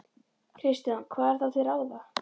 Kristján: Hvað er þá til ráða?